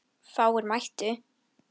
Hann lamdi í borðið.